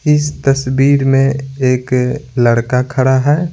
इस तस्वीर में एक लड़का खड़ा है।